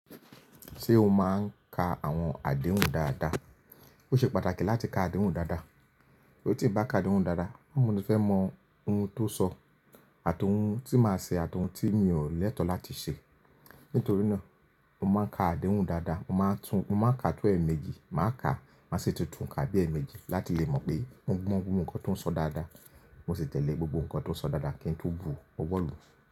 Ṣé o máa ń ka àwọn àdéhùn dáadáa? Ó ṣe pàtàkì láti ka àdéhùn dáadáa. Torí tí ń bá ka àdéhùn dáadáa, bo mo tí fẹ́ mọ ohun tó sọ àti ohun tí màá ṣe àti ohun tí mi ò lẹ́tọ̀ láti ṣe. Nítorí náà, mo máa ń ka àdéhùn dáadáa. Mo máa ń kaà tọ̀ ẹ̀ẹ̀mẹjì, màá ka, màá si tuntun ká bí ẹ̀ẹ̀mẹjì láti lè mọ pé mo gbọ́ gbogbo nǹkan tó ń sọ dáadáa. Mo sì tẹ̀lé gbogbo nǹkan tó ń sọ dáadáa kí n tó bu ọwọ́ lu.